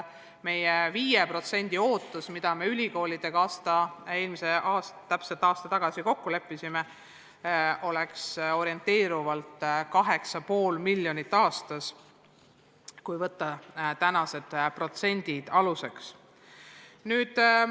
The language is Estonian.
See 5% lisaraha, mille me ülikoolidega täpselt aasta tagasi kokku leppisime, oleks orienteerivalt 8,5 miljonit aastas, kui võtta aluseks tänased summad.